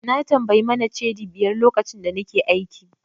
Na tambayi Mane Cedi biyar lokacin da nake aiki.